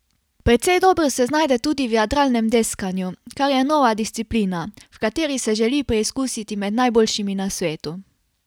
Precej dobro se znajde tudi v jadralnem deskanju, kar je nova disciplina, v kateri se želi preizkusiti med najboljšimi na svetu.